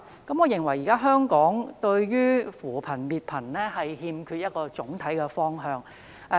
我認為現時香港對於扶貧、滅貧欠缺總體方向。